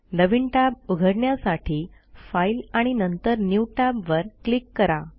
नवीन tab उघडण्यासाठी file आणि नंतर न्यू Tabवर क्लिक करा